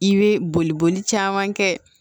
I bɛ boli boli caman kɛ